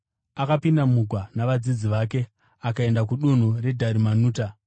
akapinda mugwa navadzidzi vake akaenda kudunhu reDharimanuta.